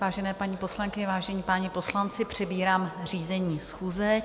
Vážené paní poslankyně, vážení páni poslanci, přebírám řízení schůze.